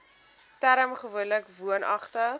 term gewoonlik woonagtig